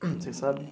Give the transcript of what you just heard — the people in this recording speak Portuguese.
Vocês sabem?